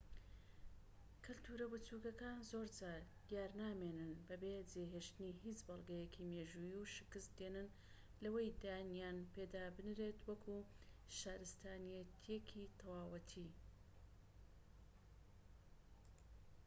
کەلتورە بچوکەکان زۆرجار دیارنامێنن بەبێ جێهێشتنی هیچ بەڵگەیەکی مێژوویی و شکست دێنن لەوەی دانیان پێدا بنرێت وەکو شارستانیەتێکی تەواوەتی